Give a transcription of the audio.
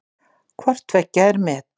Hvort tveggja er met.